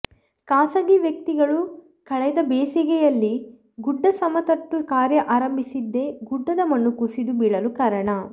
ಖಾಸಗಿ ವ್ಯಕ್ತಿಗಳು ಕಳೆದ ಬೇಸಿಗೆಯಲ್ಲಿ ಗುಡ್ಡ ಸಮತಟ್ಟು ಕಾರ್ಯ ಆರಂಬಿಸಿದ್ದೇ ಗುಡ್ಡದ ಮಣ್ಣು ಕುಸಿದು ಬೀಳಲು ಕಾರಣ